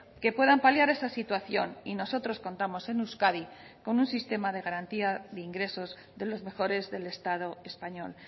que puedan paliar esa situación y nosotros contamos en euskadi con un sistema de garantía de ingresos de los mejores del estado español